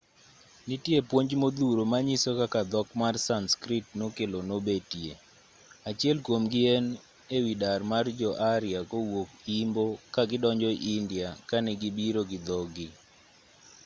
nitiere puonj modhuro manyiso kaka dhok mar sanskrit nokelo nobetie achiel kuomgi en ewi dar mar jo-arya kowuok imbo ka gidonjo india kane gibiro gi dhogi